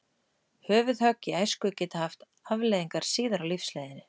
Höfuðhögg í æsku geta haft afleiðingar síðar á lífsleiðinni.